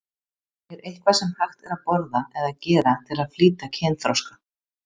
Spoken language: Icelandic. Er eitthvað sem hægt er að borða eða gera til að flýta kynþroska?